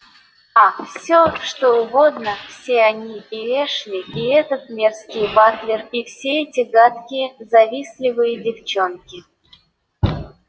а всё что угодно все они и эшли и этот мерзкий батлер и все эти гадкие завистливые девчонки